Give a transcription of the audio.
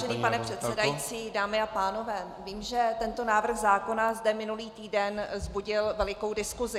Vážený pane předsedající, dámy a pánové, vím, že tento návrh zákona zde minulý týden vzbudil velikou diskusi.